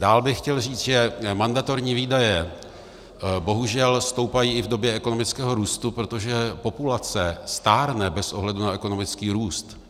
Dál bych chtěl říct, že mandatorní výdaje bohužel stoupají i v době ekonomického růstu, protože populace stárne bez ohledu na ekonomický růst.